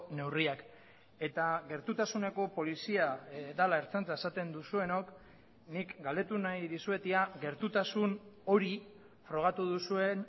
neurriak eta gertutasuneko polizia dela ertzaintza esaten duzuenok nik galdetu nahi dizuet ea gertutasun hori frogatu duzuen